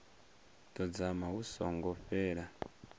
ḓo dzama hu songo fhela